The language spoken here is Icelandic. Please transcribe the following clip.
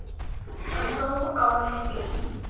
Hann dó ári síðar.